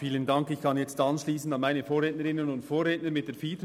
Ich kann jetzt an meine Vorrednerinnen und Vorredner anschliessen.